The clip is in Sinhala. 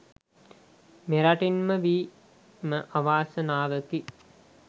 මෙරටින් ම වීම අවාසනාවකි.